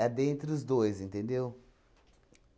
A dentre os dois, entendeu?